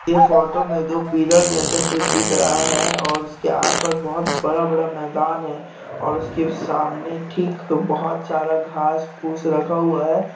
यह फोटो में दो पिलर जैसा कुछ दिख है और उसके आस पास बहोत बड़-बड़ा मैदान है और उसके सामने ठीक बहोत सारा घांस फूस रखा हुआ है।